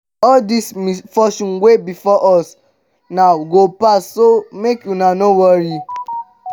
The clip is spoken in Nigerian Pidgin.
all dis misfortune wey befall us now go pass so make una no worry